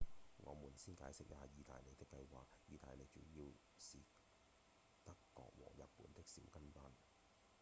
我們先解釋一下義大利的計畫義大利主要是德國和日本的「小跟班」